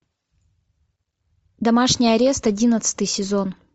домашний арест одиннадцатый сезон